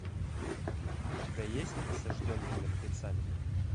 у тебя есть осажденные мертвецами